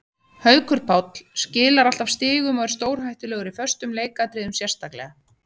Haukur Páll skilar alltaf stigum og er stórhættulegur í föstum leikatriðum sérstaklega.